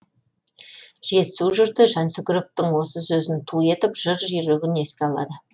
жетісу жұрты жансүгіровтың осы сөзін ту етіп жыр жүйрігін еске алды